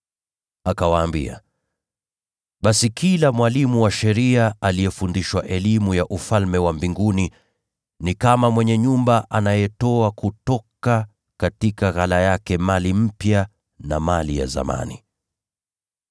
Akawaambia, “Basi kila mwalimu wa sheria aliyefundishwa elimu ya Ufalme wa Mbinguni ni kama mwenye nyumba anayetoa kutoka ghala yake mali mpya na mali ya zamani.”